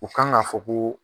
U kan ka fɔ ko